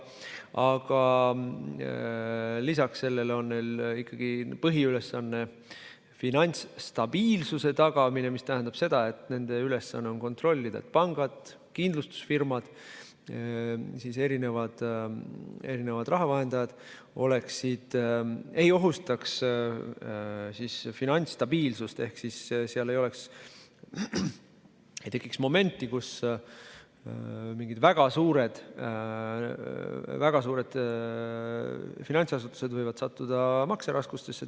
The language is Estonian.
Aga nende põhiülesanne on ikkagi finantsstabiilsuse tagamine, mis tähendab seda, et nende ülesanne on kontrollida, et pangad, kindlustusfirmad, rahavahendajad ei ohustaks finantsstabiilsust ehk et ei tekiks momenti, kus mingid väga suured finantsasutused võivad sattuda makseraskustesse.